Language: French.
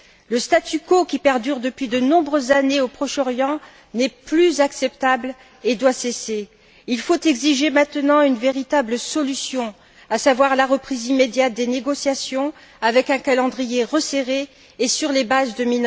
Le statu quo qui perdure depuis de nombreuses années au Proche Orient n'est plus acceptable et doit cesser. Il faut exiger maintenant une véritable solution, à savoir la reprise immédiate des négociations avec un calendrier resserré et sur les bases de